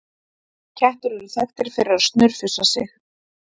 Kettir eru þekktir fyrir að snurfusa sig.